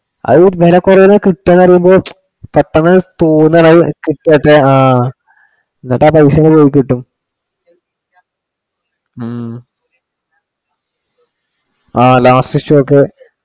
അത് വില കുറവിന് കിട്ടുക എന്ന് അറിയുമ്പോ പെട്ടന്ന് തോന്നുവാണ് അത് കിട്ടുവാ വെച്ചാ ആഹ് കിട്ടും ഉം ആഹ് last stock